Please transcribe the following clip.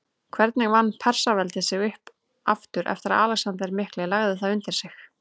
Hvernig vann Persaveldi sig upp aftur eftir að Alexander mikli lagði það undir sig?